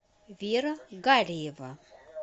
вера гариева